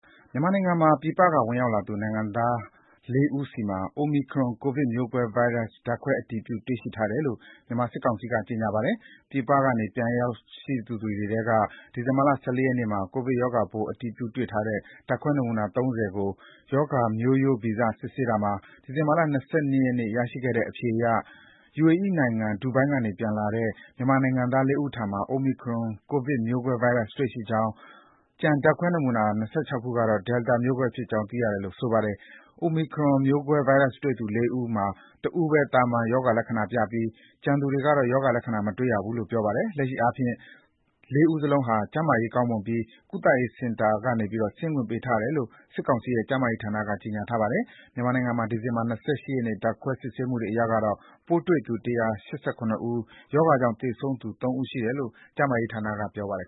မြန်မာနိုင်ငံမှာ ပြည်ပကဝင်ရောက်လာသူ နိုင်ငံသားလေးဦးဆီမှာ Omicron ကိုဗစ်မျိုးကွဲ ဗိုင်းရပ် ဓါတ်ခွဲအတည်ပြု တွေ့ရှိထားတယ်လို့ မြန်မာစစ်ကောင်စီက ကြေညာပါတယ်။ ပြည်ပက ပြန်လည်ရောက်ရှိလာသူတွေထဲက ဒီဇင်ဘာလ ၁၄ ရက်နေ့မှာ ကိုဗစ်ရောဂါပိုးအတည်ပြု တွေ့ ထားတဲ့ ဓါတ်ခွဲနမူနာ ၃၀ ကို ရောဂါမျိုးရိုးဗီဇစစ်ဆေးရာမှာ ဒီဇင်ဘာလ ၂၈ ရက်နေ့ ရရှိတဲ့အဖြေအရ ယူအေအီး နိုင်ငံ ဒူဘိုင်းကနေ ပြန်လာတဲ့ မြန်မာနိုင်ငံသားလေးဦးထံမှာ Omicron ကိုဗစ်မျိုးကွဲဗိုင်းရပ် တွေ့ရှိရပြီး ကျန်ဓါတ်ခွဲနမူနာ ၂၆ ခုကတော့ Delta မျိုးကွဲဗိုင်းရပ်ဖြစ်တယ်လို့ ဆိုပါတယ်။ Omicron မျိုးကွဲဗိုင်းရပ်တွေ့သူ လေးဦးမှာ တဦးပဲ သာမန်ရောဂါလက္ခဏာပြပြီး ကျန်သူတွေကတော့ ရောဂါလက္ခဏာ မတွေ့ရဘူးလို့ပြောပါတယ်။ လက်ရှိအားဖြင့်လည်း လေးဦးလုံးဟာ ကျန်းမာရေးကောင်းမွန်ပြီး ကုသရေးစင်တာက ဆင်းခွင့်ပေးထားတယ်လို့ စစ်ကောင်စီရဲ့ ကျန်းမာရေးဝန်ကြီးဌာနက ကြေညာထားပါတယ်။ မြန်မာနိုင်ငံမှာ ဒီဇင်ဘာ ၂၈ ရက်နေ့ ဓါတ်ခွဲစစ်ဆေးမှုတွေအရတော့ ပိုးတွေ့သူ ၁၈၇ ဦး၊ ရောဂါကြောင့် သေဆုံးသူ ၃ ဦး ရှိတယ်လို့ ကျန်းမာရေးဌာနက ကြေညာပါတယ်